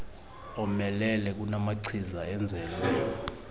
omelele kunamachiza enzelwe